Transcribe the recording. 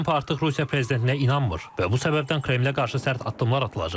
Tramp artıq Rusiya prezidentinə inanmır və bu səbəbdən Kremlə qarşı sərt addımlar atılacaq.